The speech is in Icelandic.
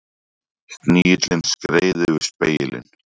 Snigillinn skreið yfir spegilinn.